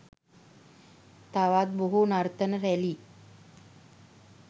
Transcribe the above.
තවත් බොහෝ නර්තන රැුලි